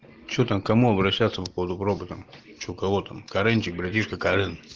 что там кому обращаться по поводу гроба что кого там каренчик братишка карен